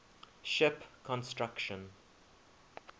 ship construction